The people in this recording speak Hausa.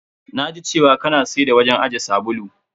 Na ji cewa ka na siyar da wajen ajiye sabulu.